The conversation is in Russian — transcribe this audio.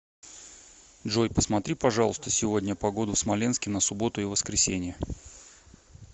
джой посмотри пожалуйста сегодня погоду в смоленске на субботу и воскресенье